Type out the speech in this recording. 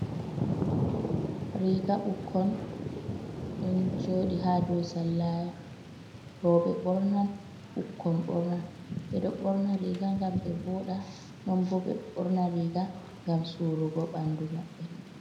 Riga ɓukkon, ɗon jodi ha dau sallaya. Roɓe bornan ɓukkon bornan. Ɓe ɗo borna riga gam be voda non bo ɓe borna riga gam su'rugo ɓandu maɓɓe.